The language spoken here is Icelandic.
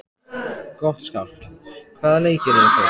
Gottskálk, hvaða leikir eru í kvöld?